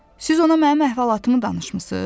Siz ona mənim əhvalatımı danışmısız?